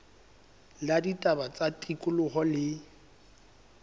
la ditaba tsa tikoloho le